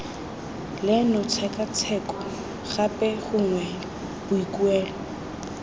leno tshekatsheko gape gongwe boikuelo